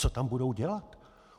Co tam budou dělat?